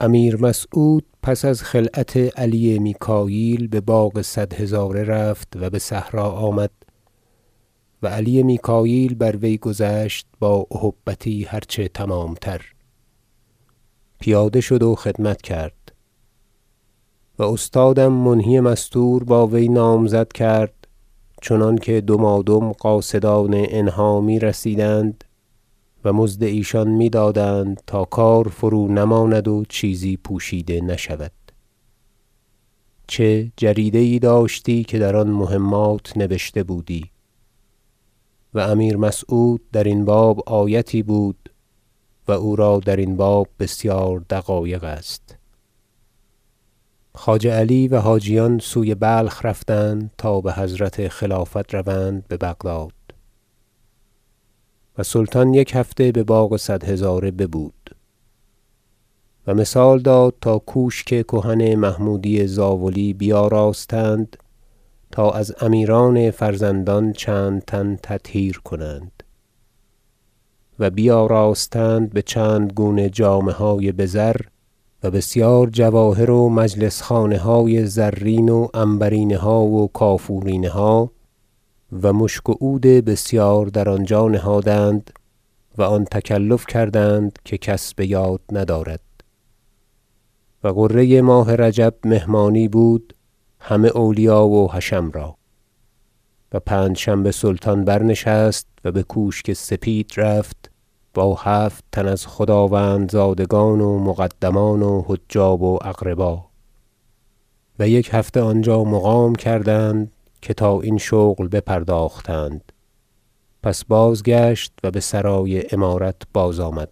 امیر مسعود پس از خلعت علی میکاییل بباغ صد هزاره رفت و بصحرا آمد و علی میکاییل بر وی گذشت با اهبتی هر چه تمامتر پیاده شد و خدمت کرد استادم منهی مستور با وی نامزد کرد چنانکه دمادم قاصدان انها میرسیدند و مزد ایشان میدادند تا کار فرونماند و چیزی پوشیده نشود چه جریده یی داشتی که در آن مهمات نبشته بودی و امیر مسعود درین باب آیتی بود و او را درین باب بسیار دقایق است خواجه علی و حاجیان سوی بلخ برفتند تا بحضرت خلافت روند ببغداد و سلطان یک هفته بباغ صد هزاره ببود و مثال داد تا کوشک کهن محمودی زاولی بیاراستند تا از امیران فرزندان چند تن تطهیر کنند و بیاراستند بچندگونه جامه های بزر و بسیار جواهر و مجلس خانه های زرین و عنبرینها و کافورینها و مشک و عود بسیار در آنجا نهادند و آن تکلف کردند که کس بیاد ندارد و غره ماه رجب مهمانی بود همه اولیا و حشم را و پنجشنبه سلطان برنشست و بکوشک سپید رفت با هفت تن از خداوند- زادگان و مقدمان و حجاب و اقربا و یک هفته آنجا مقام کردند که تا این شغل بپرداختند پس بازگشت و بسرای امارت بازآمد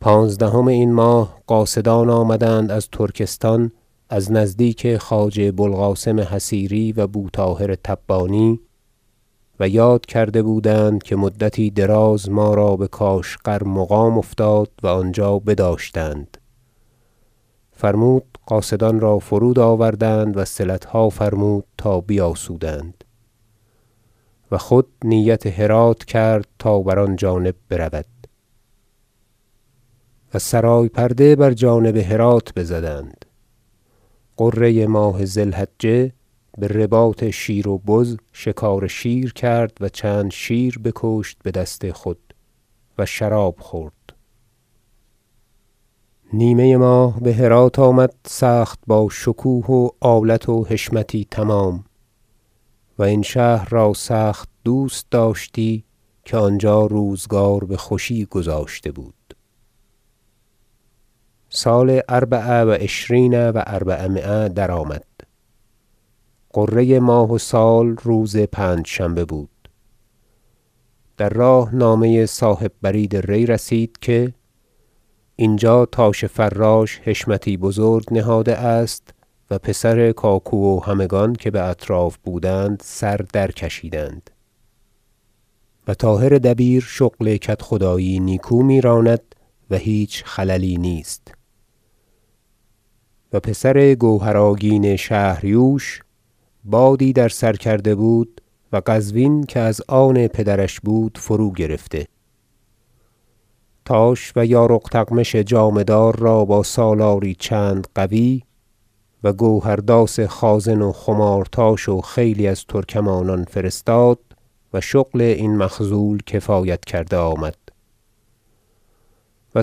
پانزدهم این ماه قاصدان آمدند از ترکستان از نزدیک خواجه بوالقاسم حصیری و بوطاهر تبانی و یاد کرده بودند که مدتی دراز ما را بکاشغر مقام افتاد و آنجا بداشتند فرمود قاصدان را فرود آوردند وصلتها فرمود تا بیاسودند و خود نیت هرات کرد تا بر آن جانب برود و سرای پرده بر جانب هرات بزدند غره ماه ذی الحجة برباط شیر و بز شکار شیر کرد و چند شیر بکشت بدست خود و شراب خورد نیمه ماه بهرات آمد سخت باشکوه و آلت و حشمتی تمام و این شهر را سخت دوست داشتی که آنجا روزگار بخوشی گذاشته بود سال اربع و عشرین و اربعمایه درآمد غره ماه و سال روز پنجشنبه بود در راه نامه صاحب برید ری رسید که اینجا تاش فراش حشمتی بزرگ نهاده است و پسر کاکو و همگان که باطراف بودند سر در کشیدند و طاهر دبیر شغل کدخدایی نیکو میراند و هیچ خللی نیست و پسر گوهر آگین شهر یوش بادی در سر کرده و قزوین که از آن پدرش بود فروگرفته تاش و یارق تغمش جامه دار را با سالاری چند قوی و گوهر داس خازن و خمارتاش و خیلی از ترکمانان فرستاد و شغل این مخذول کفایت کرده آمد و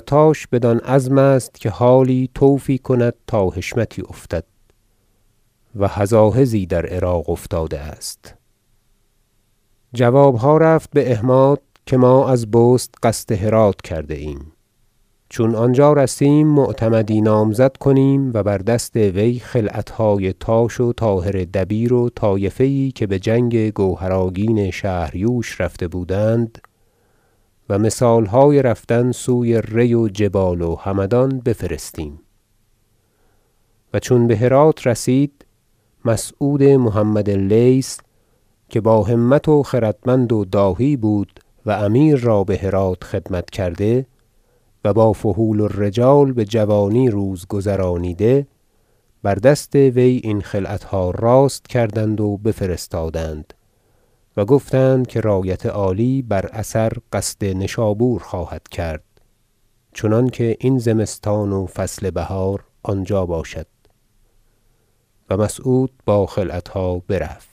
تاش بدان عزم است که حالی طوفی کند تا حشمتی افتد و هزاهزی در عراق افتاده است جوابها رفت باحماد که ما از بست قصد هرات کرده ایم چون آنجا رسیم معتمدی نامزد کنیم و بر دست وی خلعتهای تاش و طاهر دبیر و طایفه یی که بجنگ گوهر آگین شهریوش رفته بودند و مثالهای رفتن سوی ری و جبال و همدان بفرستیم و چون بهرات رسید مسعود محمد لیث که با همت و خردمند و داهی بود و امیر را بهرات خدمت کرده و با فحول الرجال بجوانی روز گذرانیده بر دست وی این خلعتها راست کردند و بفرستادند و گفتند که رایت عالی بر اثر قصد نشابور خواهد کرد چنانکه این زمستان و فصل بهار آنجا باشد و مسعود با خلعتها برفت